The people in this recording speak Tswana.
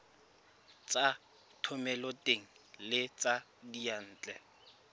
tsa thomeloteng le tsa diyantle